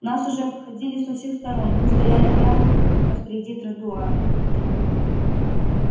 нас уже обходили со всех сторон мы стояли прямо посреди тротуара